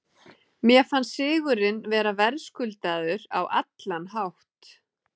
Mér fannst sigurinn vera verðskuldaður á allan hátt.